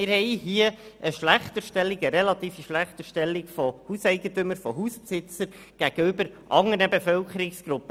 Hier haben wir also eine relative Schlechterstellung von Hauseigentümern gegenüber anderen Bevölkerungsgruppen.